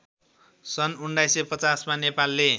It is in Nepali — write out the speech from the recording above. सन् १९५० मा नेपालले